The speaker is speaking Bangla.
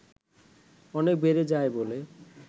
অনেক বেড়ে যায় বলে